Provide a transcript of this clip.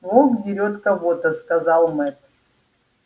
волк дерёт кого-то сказал мэтт